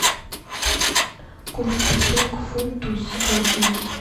курс песо к фунту сегодня